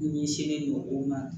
Ɲɛsinnen don o ma